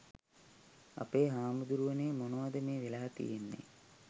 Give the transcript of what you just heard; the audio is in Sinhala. අපේ හාමුදුරුවනේ මොනවද මේ වෙලා තියෙන්නේ?